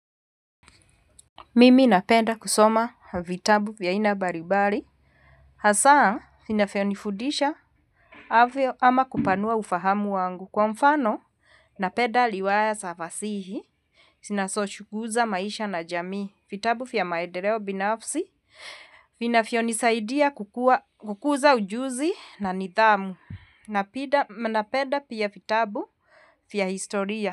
Mimi napenda kusoma vitabu vya aina mbalibali. Hasaa vinafivonifudisha. Havyo ama kupanua ufahamu wangu kwa mfano. Napenda liwaya za fasihi zinazochuguza maisha na jamii. Vitabu vya maendeleo binafsi vinavyonisaidia kukuza ujuzi na nidhamu. Napenda pia vitabu vya historia.